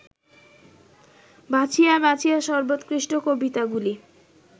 বাছিয়া বাছিয়া সর্বোৎকৃষ্ট কবিতাগুলি